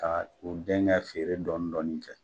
Ka u dɛn ka feere dɔndɔnin kɛ.